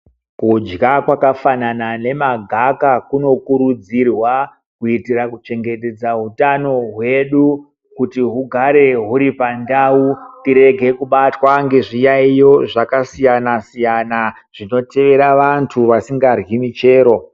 Kudya kwakafanana nemagaka kunokurudzirwa kuitira kuchengetedza utano hwedu kuti hugare huri pandau tirege kubatwa ngezviyaiyo zvakasiyana -siyana zvinoteera vantu vasingadyi michero.